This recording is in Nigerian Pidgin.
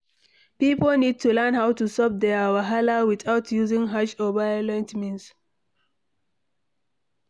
Pipo need to learn how to solve their wahala without using harsh or violent means